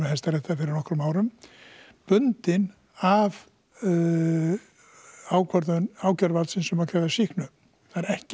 Hæstaréttar fyrir nokkrum árum bundinn af ákvörðun ákæruvalds um að krefjast sýknu það er ekki